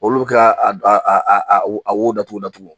Olu k'a a d a a a wo a wo datugu datugu.